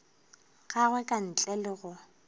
gagwe ka ntle le go